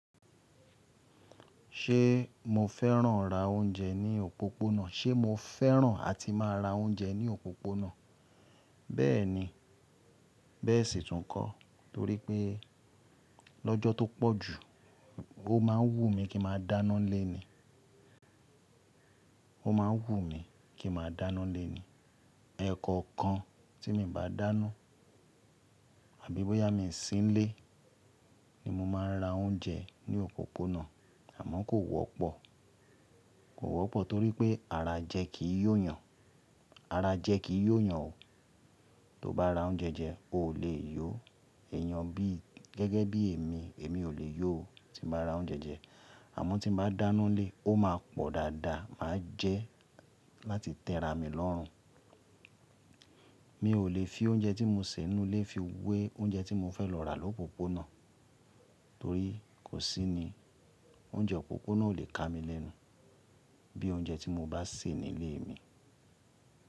Ṣé mo fẹ́ràn ra oúnjẹ ní òpópónà? Ṣé mo fẹ́ràn àti máa ra oúnjẹ ní òpópónà? Bẹ́ẹ̀ni, bẹ́ẹ̀ sì tún kọ́ torípẹ́ lọ́jọ́ tó pọ̀jù ó máa ń wù mí kí màá dáná n lé ní. Ó máa ń wù mí kí màá dáná nlé ní. Ẹ̀ẹ̀kọ̀kan tí mi ò bá dáná àbí bóyá mi sí nílé ni mo máa ń ra oúnjẹ ní òpópónà àmọ́ kò wọ́pọ̀. Kò wọ́pọ̀ torípẹ́ ara jẹ kì í yó yan. Ara jẹ kì í yó yan o. Tó bá ra oúnjẹ jẹ, o ò lè yó. Ẹ̀ẹ̀yan bí gẹ́gẹ́ bí èmi, èmi ò lè yó o tí mo bá ra oúnjẹ jẹ àmọ́ tí mo bá dáná nlé, ó máa pọ̀ dáadáa máa jẹ́ láti tẹ́ra mi lọ́run. Mi ò lè fi oúnjẹ tí mo sè nínú ilé fi wé oúnjẹ tí mo fẹ́ lọ rà lópópónà torí kò sí ní oúnjẹ òpópónà ò lè ká mi lẹ́nu bí oúnjẹ tí mo bá sè nílé mi.